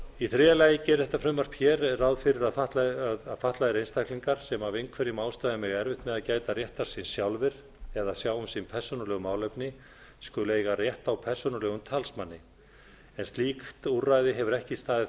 í þriðja lagi gerir þetta frumvarp hér ráð fyrir að fatlaðir einstaklingar sem af einhverjum ástæðum eiga erfitt með að gæta réttar síns sjálfir eða sjá um sín persónulegu málefni skuli eiga rétt á persónulegum talsmanni en slíkt úrræði hefur ekki staðið